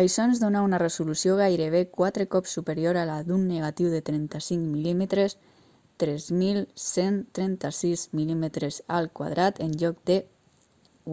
això ens dóna una resolució gairebé quatre cops superior a la d'un negatiu de 35 mm 3.136 mm² en lloc de